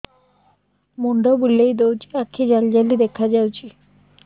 ମୁଣ୍ଡ ବୁଲେଇ ଦଉଚି ଆଖି ଜାଲି ଜାଲି ଦେଖା ଯାଉଚି